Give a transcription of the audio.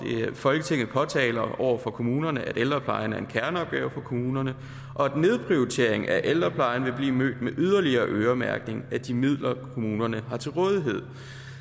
folketinget påtaler over for kommunerne at ældreplejen er en kerneopgave for kommunerne og at nedprioritering af ældreplejen vil blive mødt med yderligere øremærkning af de midler kommunerne har til rådighed